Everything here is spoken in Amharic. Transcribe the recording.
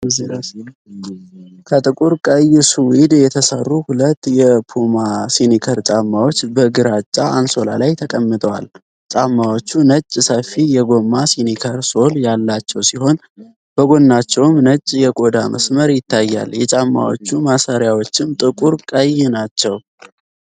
ከጥቁር ቀይ ሱዊድ የተሰሩ ሁለት የፑማ ስኒከር ጫማዎች በግራጫ አንሶላ ላይ ተቀምጠዋል። ጫማዎቹ ነጭ ሰፊ የጎማ ስኒከር ሶል ያላቸው ሲሆን፣ በጎናቸውም ነጭ የቆዳ መስመር ይታያል። የጫማዎቹ ማሰሪያዎችም ጥቁር ቀይ ናቸው።